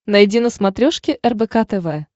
найди на смотрешке рбк тв